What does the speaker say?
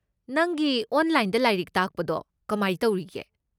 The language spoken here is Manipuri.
ꯅꯪꯒꯤ ꯑꯣꯟꯂꯥꯏꯟꯗ ꯂꯥꯏꯔꯤꯛ ꯇꯥꯛꯄꯗꯣ ꯀꯃꯥꯏ ꯇꯧꯔꯤꯒꯦ?